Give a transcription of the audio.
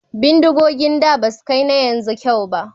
Bindigogin da basu kai na yanzu kyau ba